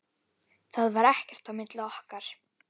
Það var ekkert á milli okkar.